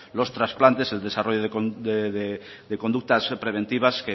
los trasplantes el desarrollo de conductas preventivas